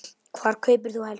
Hvar kaupir þú helst föt?